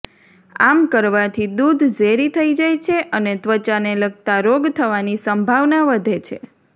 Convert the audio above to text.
આમ કરવાથી દૂધ ઝેરી થઈ જાય છે અને ત્વચાને લગતા રોગ થવાની સંભાવના વધે છે